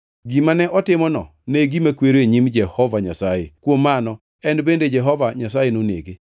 Gimane otimono ne gima kwero e nyim Jehova Nyasaye; kuom mano en bende Jehova Nyasaye nonege.